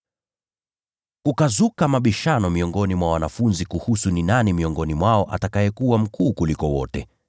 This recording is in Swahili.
Kukazuka mabishano miongoni mwa wanafunzi kuhusu ni nani miongoni mwao atakayekuwa mkuu kuliko wote.